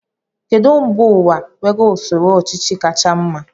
Kedụ mba ụwa nwere usoro ọchịchị kacha mma?